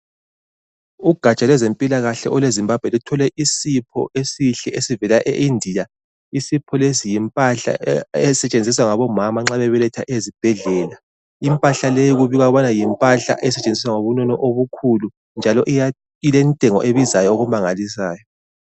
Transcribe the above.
Ugatsha lwezempilakahle olwe Zimbabwe, luthole isipho esihle esivela eIndia. Isipho lesi yimpahla esetshenziswa ngabomama nxa bebeletha ezibhedlela. Impahla leyi kubikwa yimpahla esetshenziswa ngobunono obukhulu, njalo iya ilentengo ebizayo okumangalisayo.